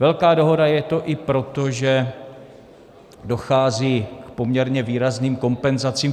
Velká dohoda je to i proto, že dochází k poměrně výrazným kompenzacím.